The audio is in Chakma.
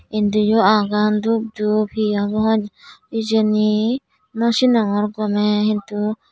endi oh agon dup dup he agon hejeni nosinongor gomeh hintu.